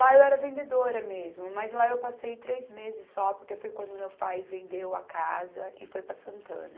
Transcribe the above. Lá eu era vendedora mesmo, mas lá eu passei três meses só, porque foi quando meu pai vendeu a casa e foi para Santana.